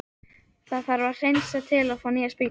Það þarf að hreinsa til og fá nýjar spýtur.